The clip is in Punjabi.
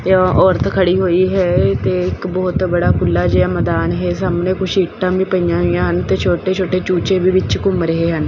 ਤੇ ਔਰਤ ਖੜੀ ਹੋਈ ਹੈ ਤੇ ਇੱਕ ਬਹੁਤ ਬੜਾ ਖੁੱਲਾ ਜਿਹਾ ਮੈਦਾਨ ਹੈ ਸਾਹਮਣੇ ਕੁਛ ਇੱਟਾਂ ਵੀ ਪਈਆਂ ਹੋਈਆਂ ਹਨ ਤੇ ਛੋਟੇ ਛੋਟੇ ਚੂਚੇ ਵੀ ਵਿੱਚ ਘੁੰਮ ਰਹੇ ਹਨ।